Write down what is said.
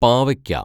പാവയ്ക്ക